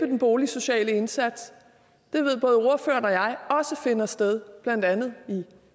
den boligsociale indsats det ved både ordføreren og jeg også finder sted blandt andet i